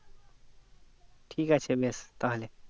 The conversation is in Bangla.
ঠিক আছে বেশ তাহলে